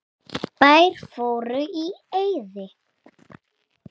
Bæir fóru í eyði.